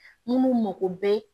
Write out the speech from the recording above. Minnu mako bɛ